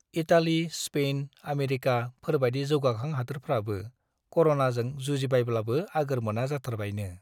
Italy , Spain , America फोरबाइदि जौगाखां हादोरफ्राबो कर'नाजों जुजिबायब्लाबो आगोर मोना जाथारबायनो ।